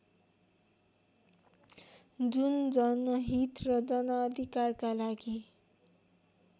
जुन जनहीत र जनअधिकारका लागि